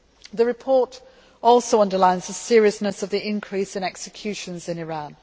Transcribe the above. The report also underlines the seriousness of the increase in executions in Iran.